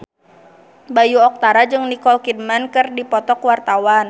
Bayu Octara jeung Nicole Kidman keur dipoto ku wartawan